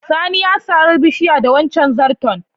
Sani ya sare bishiyar da wancen zarton.